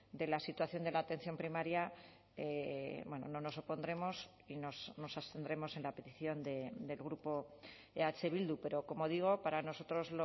de la situación de la atención primaria no nos opondremos y nos abstendremos en la petición del grupo eh bildu pero como digo para nosotros